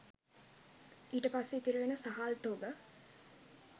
ඊට පස්සේ ඉතිරි වෙන සහල් තොග